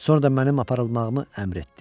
Sonra da mənim aparılmağımı əmr etdi.